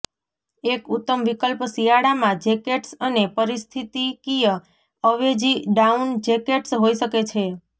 એક ઉત્તમ વિકલ્પ શિયાળામાં જેકેટ્સ અને પરિસ્થિતિકીય અવેજી ડાઉન જેકેટ્સ હોઈ શકે છે